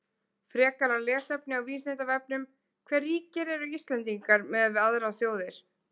Frekara lesefni á Vísindavefnum: Hve ríkir eru Íslendingar miðað við aðrar þjóðir?